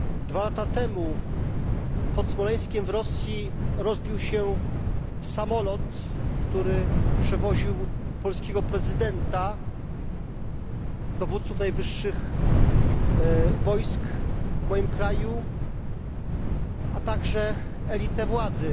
Dwa lata temu pod Smoleńskiem w Rosji rozbił się samolot, który przewoził polskiego prezydenta, najwyższych dowódców wojsk w moim kraju, a także elitę władzy.